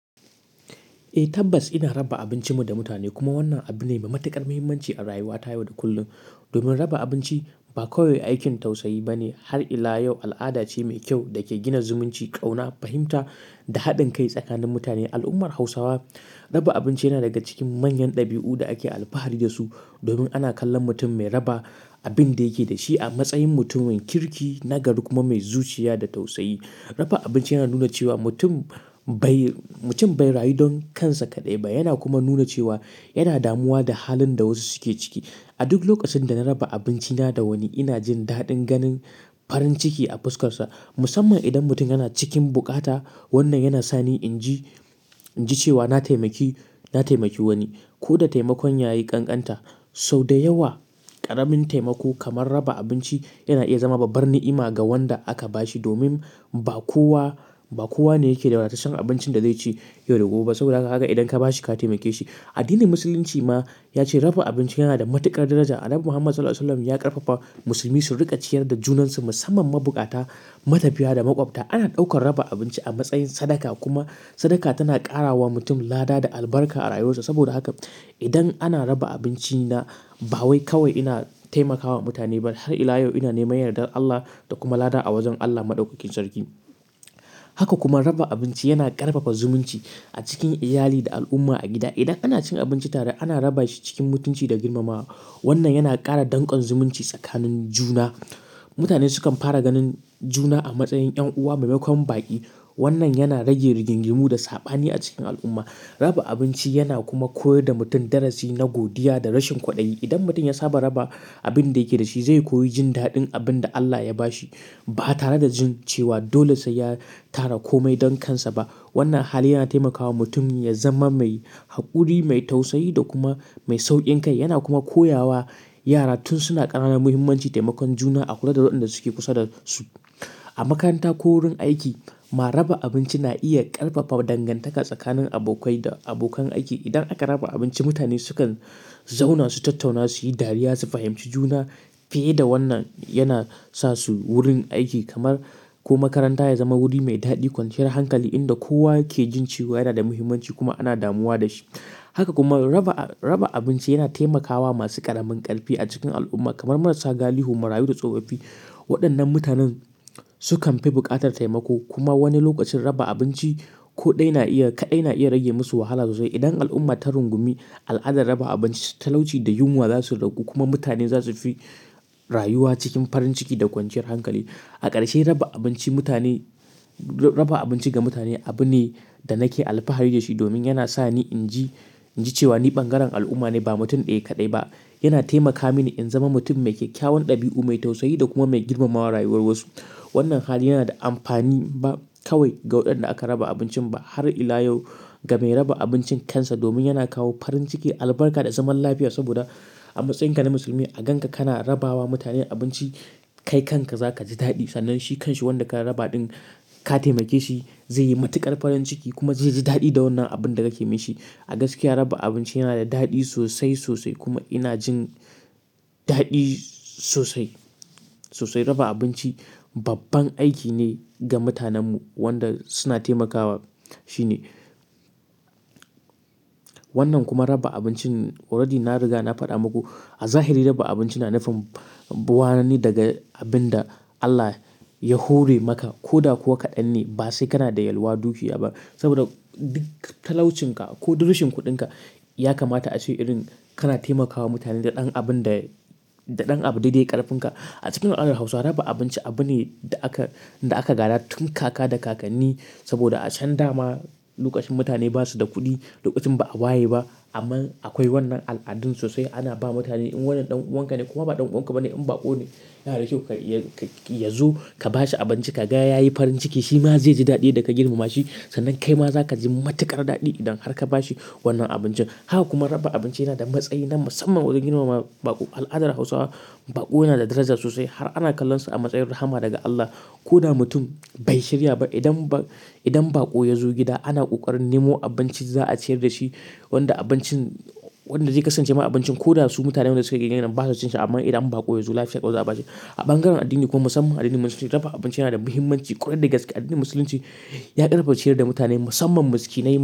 Eh tabbas ina raba abincinmu da mutane kuma wannan abu ne mai matuƙar muhimmanci a rayuwata yau da kullum. Domin raba abinci ba kawai aikin tausayi ba ne har ila yau al'ada ce mai kyau da ke gina zumunci, ƙauna, fahimta da haɗin kai tsakanin mutane. A al'ummar Hausawa raba abinci yana daga cikin manyan ɗabi'u da ake alfahari da su. Domin ana kallon mutum mai raba abin da yake da shi a matsayin mutum mai kirki, nagari kuma mai zuciya da tausayi. Raba abinci yana nuna cewa mutum bai, mutum bai rayu don kansa kaɗai ba. Yana kuma nuna cewa yana damuwa da halin da wasu suke ciki. A duk lokacin da na raba abinci na da wani ina jin daɗin ganin farin ciki a fuskar sa. Musamman idan mutum yana cikin bukata wannan yana sa ni in ji, in ji cewa na taimaki, na taimaki wani. Ko da taimakon ya yi ƙanƙanta sau da yawa ƙaramin taimako kamar raba abinci yana iya zama babban ni'ima ga wanda aka ba shi. Domin ba kowa, ba kowa ne yake da ratacen abincin da zai ci yau da gobe. Saboda haka idan ka ba shi ka taimake shi. Addinin Musulunci ma ya ce raba abinci yana da matuƙar daraja. Annabi Muhammad SAW ya ƙarfafa musulmi su riƙa ciyar da junansu musamman mabukata, matafiya da maƙwabta. Ana ɗaukar raba abinci a matsayin sadaka kuma sadaka tana ƙara wa mutum lada da albarka a rayuwarsa. Saboda haka idan ana raba abinci na ba wai kawai ina taimakawa mutane ba har ila yau ina neman yardar Allah da kuma lada a wajen Allah Maɗaukakin Sarki. Haka kuma raba abinci yana ƙarfafa zumunci a cikin iyali da al'umma a gida. Idan ana cin abinci tare ana raba shi cikin mutunci da girmamawa. Wannan yana ƙara dankon zumunci tsakanin juna. Mutane sukan fara ganin juna a matsayin ƴan uwa maimakon baƙi. Wannan yana rage rigingimu da saɓani a cikin al'umma. Raba abinci yana kuma koyar da mutum darasi na godiya da rashin kuɗi. Idan mutum ya saba raba abin da yake da shi zai koyi jin daɗin abin da Allah ya ba shi ba tare da jin cewa dole sai ya tara komai don kansa ba. Wannan hali yana taimakawa mutum ya zama mai haƙuri, mai tausayi da kuma mai sauƙin kai. Yana kuma koya wa yara tun suna ƙarana muhimmancin taimakon juna a kula da waɗanda suke kusa da su. A makaranta ko wurin aiki ma raba abinci na iya ƙarfafa dangantaka tsakanin abokai da abokan aiki. Idan aka raba abinci mutane sukan zauna su tattauna, su yi dariya, su fahimci juna. Fiye da wannan yana sa su wurin aiki kamar ko makaranta ya zama wuri mai daɗi, kwanciyar hankali inda kowa yake jin cewa yana da muhimmanci kuma ana damuwa da shi. Haka kuma raba a-raba abinci yana taimakawa masu ƙaramin ƙarfi a cikin al'umma kamar marasa gali, hummarayu da tsofaffi. Waɗannan mutanen sukan fi buƙatar taimako kuma wani lokacin raba abinci ko ɗaya na iya kaɗai na iya rage musu wahala sosai. Idan al'umma ta rungumi al'adar raba abinci talauci da yunwa za su ragu kuma mutane za su fi rayuwa cikin farin ciki da kwanciyar hankali. A ƙarshe raba abinci mutane, raba abinci ga mutane abu ne da nake alfahari da shi domin yana sa ni in ji, in ji cewa ni bangaren al'umma ne ba mutum ɗaya kaɗai ba. Yana taimaka mini in zama mutum mai kyakkyawan ɗabi'u, mai tausayi da kuma mai girmama rayuwar wasu. Wannan hali yana da amfani ba kawai ga waɗanda aka raba abincin ba har ila yau ga mai raba abincin kansa domin yana kawo farin ciki, albarka da zaman lafiya. Saboda a matsayinka na musulmi a ganka kana rabawa mutane abinci kai kanka za ka ji daɗi. Sannan shi kanshi wanda ka raba ɗin ka taimake shi zai yi matuƙar farin ciki kuma zai ji daɗi da wannan abin da ka yi masa. A gaskiya raba abinci yana da daɗi sosai, sosai kuma ina jin daɗi sosai, sosai. Raba abinci babban aiki ne ga mutanenmu wanda suna taimakawa shine. Wannan kuma raba abincin already na riga na faɗa muku a zahiri raba abinci na nufin bi wanani daga abin da Allah ya hore maka ko da kuwa kaɗan ne. Ba sai kana da yalwa dukiya ba saboda duk talaucinka ko duk rashin kuɗinka ya kamata a ce irin kana taimakawa mutane da ɗan abun da, da ɗan abu da dai ƙarfin ka. A cikin al'adar Hausawa raba abinci abu ne da aka, da aka gaɗa tun kaka da kakanni saboda a can da ma lokacin mutane ba su da kuɗi, lokacin ba a waye ba. Amma akwai wannan al'adun sosai. Ana ba mutane in wannan ɗan uwanka ne kuma ba ɗan uwanka ba ne in baƙo ne yana da kyau ka ya-yazo ka bashi abinci ka ga ya yi farin ciki. Shi ma zai ji daɗin yadda ka girmama shi. Sannan kai ma za ka ji matuƙar daɗi idan har ka ba shi wannan abincin. Haka kuma raba abinci yana da matsayi na musamman wajen girmama baƙo. A al'adar Hausawa baƙo yana da daraja sosai har ana kallonsa a matsayin rahama daga Allah. Ko da mutum bai shirya ba idan baƙo, idan baƙo ya zo gida ana ƙoƙarin nemo abincin za a ciyar da shi. Wanda abincin, wanda zai kasance ma abincin ko da su mutanen da suke gidan ba su cin shi amma idan baƙo ya zo lafiya ƙalau za a bashi. A bangaren addini kuma musamman addinin Musulunci raba abinci yana da muhimmanci ƙwarai da gaske. Addinin Musulunci ya ƙarfafa ciyar da mutane musamman masikinaima.